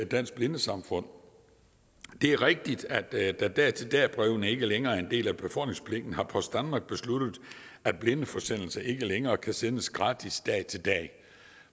dansk blindesamfund det er rigtigt at da dag til dag brevene ikke længere er en del af befordringspligten har post danmark besluttet at blindeforsendelser ikke længere kan sendes gratis fra dag til dag